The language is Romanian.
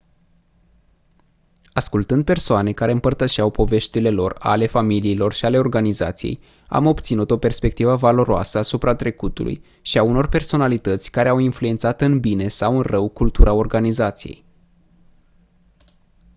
ascultând persoane care împărtășeau poveștile lor ale familiilor și ale organizației am obținut o perspectivă valoroasă asupra trecutului și a unor personalități care au influențat în bine sau în rău cultura organizației